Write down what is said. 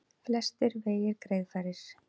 Flestir vegir greiðfærir